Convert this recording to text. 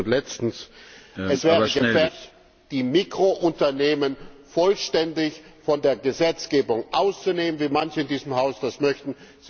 Und drittens und letztens Es wäre gefährlich, die Mikrounternehmen vollständig von der Gesetzgebung auszunehmen, wie manche in diesem Haus das möchten.